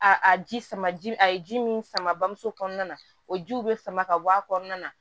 A a ji sama ji a ye ji min sama bamuso kɔnɔna na o jiw bɛ sama ka bɔ a kɔnɔna na